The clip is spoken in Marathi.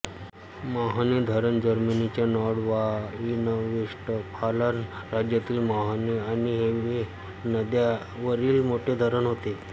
मॉहने धरण जर्मनीच्या नोर्डऱ्हाइनवेस्टफालन राज्यातील मॉहने आणि हेवे नद्यांवरील मोठे धरण आहे